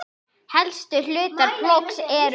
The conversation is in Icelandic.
Helstu hlutar plógs eru